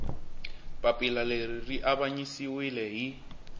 papila leri ri avanyisiwile hi